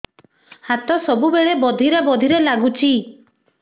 ହାତ ସବୁବେଳେ ବଧିରା ବଧିରା ଲାଗୁଚି